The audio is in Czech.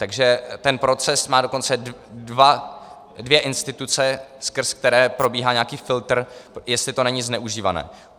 Takže ten proces má dokonce dvě instituce, skrz které probíhá nějaký filtr, jestli to není zneužívané.